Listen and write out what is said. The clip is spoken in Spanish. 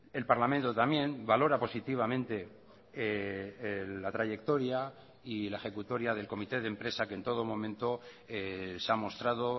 el parlamento también valora positivamente la trayectoria y la ejecutoria del comité de empresa que en todo momento se ha mostrado